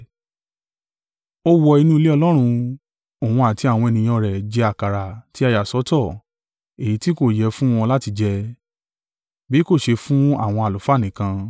Ó wọ inú ilé Ọlọ́run, òun àti àwọn ènìyàn rẹ̀ jẹ àkàrà tí a yà sọ́tọ̀, èyí tí kò yẹ fún wọn láti jẹ, bí kò ṣe fún àwọn àlùfáà nìkan.